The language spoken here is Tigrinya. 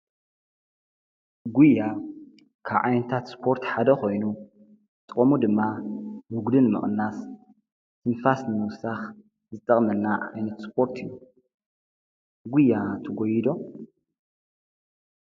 ጕያ ካዓይንታት ስጶርት ሓደ ኾይኑ ጦሙ ድማ ውግድን መቕናስ ትንፋስ መውሳኽ ዝጠቕመና ኣይነት ስጶርት እዩ ጕያ ትጐይዶ?